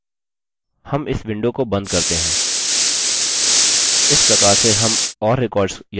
इस प्रकार से हम और records या data जोड़ सकते हैं